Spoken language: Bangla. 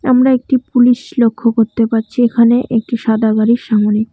আমরা একটি পুলিশ লক্ষ্য করতে পারছি এখানে। একটি সাদা গাড়ির সামনে।